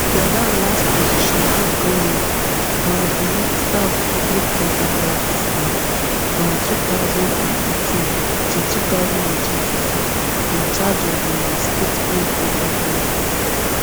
gordhan last position in goment na as di minister of public enterprises um from two thousand and eighteen to two thousand and twenty-four in charge of um stateowned enterprises